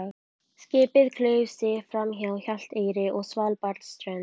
Skipið klauf sig framhjá Hjalteyri og Svalbarðsströnd.